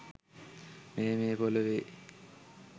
මෙය මේ පොලොවේ